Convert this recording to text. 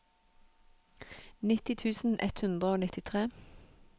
nitti tusen ett hundre og nittitre